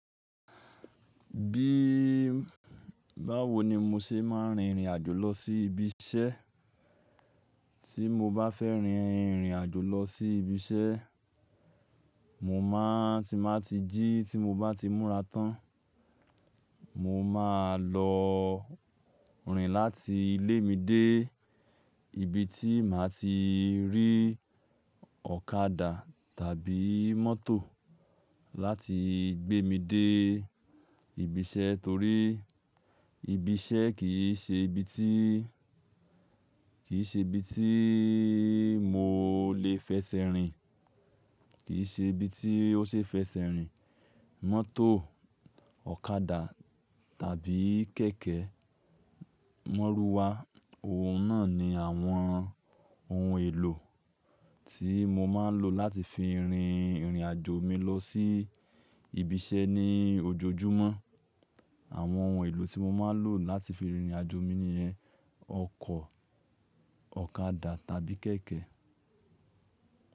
Bí báwo ni mo ṣe máa ń rìn ìrìn àjò lọ sí ibi iṣẹ́. Tí mo bá fẹ́ rìn ìrìn àjò lọ sí ibi iṣẹ́, mo máa ń ti n báa ti jí tí mo bá ti múra tán. Mo máa lọ rìn láti ilé mi dé ibi tí màá ti rí ọ̀kadà tàbí mọ́tò láti gbé mi dé ibi iṣẹ́ torí ibi iṣẹ́ kì í ṣe ibi tí, kì í ṣe ibi tí mo lè fẹsẹ̀ rìn, kì í ṣe ibi tí ó ṣe fẹsẹ̀ rìn. Mọ́tò, ọ̀kadà tàbí kẹ̀kẹ́, mọ́'rúwá, òun náà ni àwọn ohun èlò tí mo máa ń lò láti fi rìn ìrìn àjò mi lọ sí ibi iṣẹ́ ní ojoojúmọ́. Àwọn ohun èlò tí mo máa ń lò láti fi rin ìrìnàjò mi nìyẹn. Ọkọ̀, ọ̀kadà tàbí kẹ̀kẹ́.